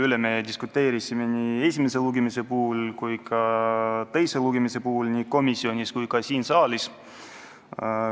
Me diskuteerisime selle üle nii esimese lugemise kui ka teise lugemisega seoses nii komisjonis kui ka siin saalis.